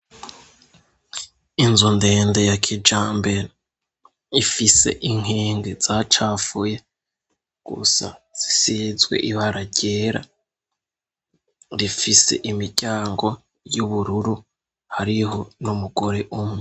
Inzu ndende ya kijambera ifise inkinge za cafuye gusa zisizwe ibara ryera rifise imiryango y'ubururu hariho n'umugore umwe.